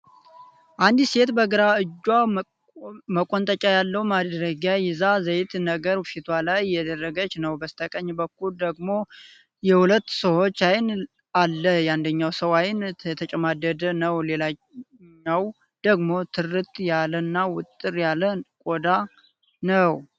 አንዲት ሴት በግራ እጇ መቆንጠጫ ያለው ማድረጊያ ይዛ ዘይት ነገር ፊቷ ላይ እያደረገች ነው። በስተቀኝ በኩል ደግሞ የሁለት ሰዎች አይን አለ የአንደኛው ሰው አይን የተጨማደደ ነው ሌላኛው ደግሞ ትርት ያለ እና ዉጥር ያለ ቆዳ ነው።